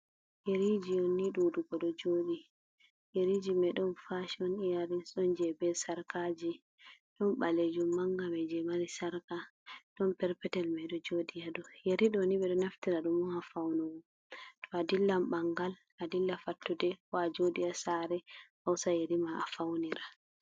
Yeriji on ni dudugo do jodi. Yeriji mai don fashion iyaris. Don je be sarkaji, don balejum manga mai je mari sarka, don perpetel mai do jodi ha dow. Yeri do ni bedo naftira dum on ha faunugo. To a dillan bangal adilla fattude ko a jodi a sare a hosa Yeri ma a faunira.